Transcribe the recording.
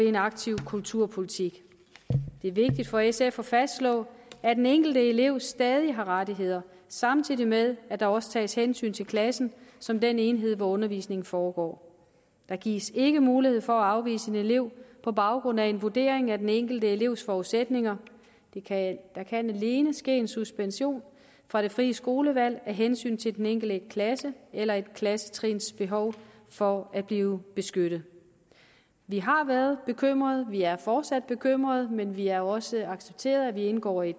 en aktiv kulturpolitik det er vigtigt for sf at fastslå at den enkelte elev stadig har rettigheder samtidig med at der også tages hensyn til klassen som den enhed hvor undervisningen foregår der gives ikke mulighed for at afvise en elev på baggrund af en vurdering af den enkelte elevs forudsætninger der kan alene ske en suspension fra det frie skolevalg af hensyn til den enkelte klasses eller et klassetrins behov for at blive beskyttet vi har været bekymrede vi er fortsat bekymrede men vi har også accepteret at vi indgår i